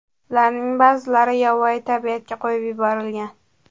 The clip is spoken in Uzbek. Ularning ba’zilari yovvoyi tabiatga qo‘yib yuborilgan.